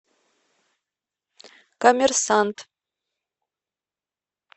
коммерсант